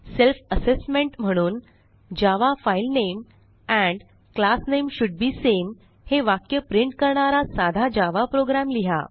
self assessment म्हणून Java file name and class name should be same हे वाक्य print करणारा साधा जावा programलिहा